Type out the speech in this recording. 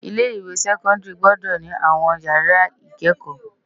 Ilé iwé sèkòndári gbòdò ni áwòn iyàrá ikëkò